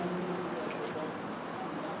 Tamam, bunları qoydum.